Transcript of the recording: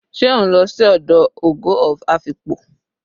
se o nlo si odo "ogo of Afikpo"?